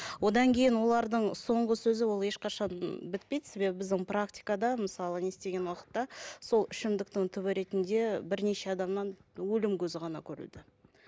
одан кейін олардың соңғы сөзі ол ешқашан бітпейді себебі біздің практикада мысалы не істеген уақытта сол ішімдіктің түбі ретінде бірнеше адамнан өлім көзі ғана көреді